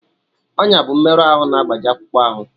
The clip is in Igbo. Ọnya bụ mmerụ ahụ na-agbaji akpụkpọ ahụ